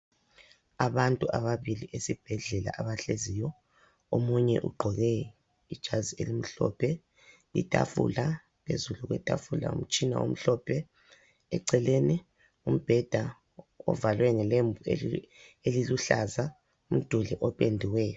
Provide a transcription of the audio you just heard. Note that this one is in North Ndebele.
Abantu ababili esibhedlela abahleziyo omunye ugqoke ijazi elimhlophe, itafula phezulu kwetafula umtshina omhlophe eceleni umbheda ovalwe ngelembu eliluhlaza, umduli opendiweyo.